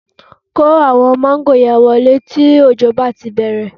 Kó àwọn máńgò yẹn wọlé tí òjò bá ti bẹ̀rẹ̀